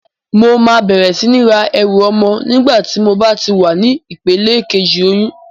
Mo máa bẹ̀rẹ̀ sí ní ra ẹrù ọmọ nígbà tí mo bá wà ní ìpele kejì oyún.